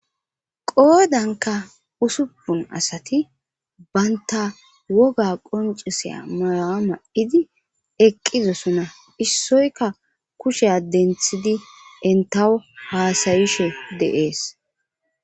qoodanka usupun asati banta woga qoncisiya mayuwa mayidi eqqidosona issoyka kusha denthidi entawo haasayishe de'ees